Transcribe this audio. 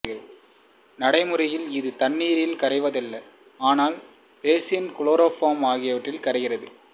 நடைமுறையில் இது தண்ணீரில் கரைவதில்லை ஆனால் பென்சீன் குளோரோஃபார்ம் ஆகியனவற்றில் கரைகிறது